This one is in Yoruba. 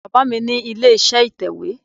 Baba mi ni ile-iṣẹ itẹwe